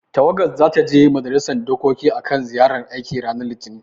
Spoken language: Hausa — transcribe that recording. Tawagar zata je majalisar dokokin akan ziyarar aiki ranar Litinin.